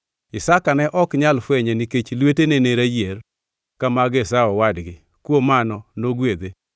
Isaka ne ok nyal fwenye nikech lwetene ne rayier ka mag Esau owadgi, kuom mano nogwedhe.